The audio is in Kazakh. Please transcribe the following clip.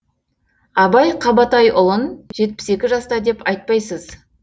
абай қабатайұлын жетпіс екі жаста деп айтпайсыз